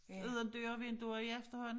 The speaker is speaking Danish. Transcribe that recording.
Uden døre og vinduer i efterhånden